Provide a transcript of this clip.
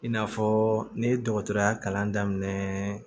I n'a fɔ ne ye dɔgɔtɔrɔya kalan daminɛ